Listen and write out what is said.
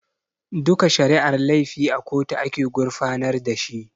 Duka shari'ar laifi a kotu ake gurfanar da shi